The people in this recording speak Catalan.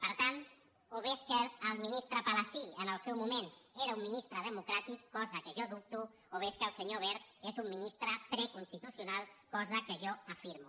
per tant o bé és que el ministre palasí en el seu moment era un ministre democràtic cosa que jo dubto o bé és que el senyor wert és un ministre preconstitucional cosa que jo afirmo